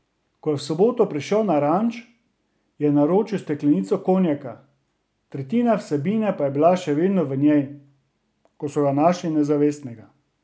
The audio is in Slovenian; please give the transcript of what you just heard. Ko je v soboto prišel na ranč, je naročil steklenico konjaka, tretjina vsebine pa je bila še vedno v njej, ko so ga našli nezavestnega.